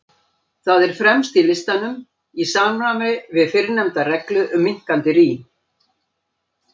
Það er fremst í listanum, í samræmi við fyrrnefnda reglu um minnkandi rím.